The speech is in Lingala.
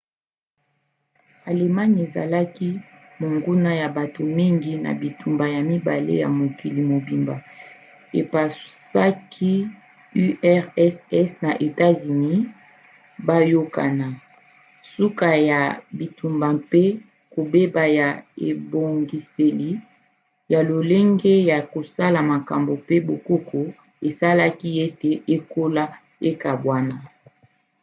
allemagne ezalaki monguna ya bato mingi na bitumba ya 2 ya mokili mobimba epusaki urss na etats-unis bayokana. suka ya bitumba mpe kobeba ya ebongiseli ya lolenge ya kosala makambo pe bokoko esalaki ete ekolo ekabwana